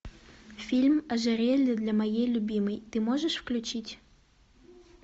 фильм ожерелье для моей любимой ты можешь включить